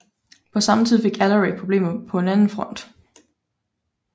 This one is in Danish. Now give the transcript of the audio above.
På samme tid fik Alarik problemer på en anden front